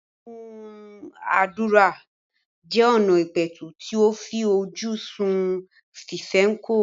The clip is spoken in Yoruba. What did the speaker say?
ìdúnàádúrà jẹ́ ọna ìpẹ̀tù tí ó fi ojú sun fífẹnukò.